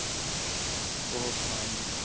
ਬਹੁਤ ਹਾਂਜੀ ਹਾਂ